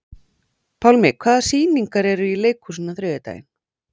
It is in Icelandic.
Pálmi, hvaða sýningar eru í leikhúsinu á þriðjudaginn?